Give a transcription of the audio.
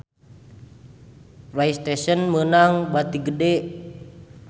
Playstation meunang bati gede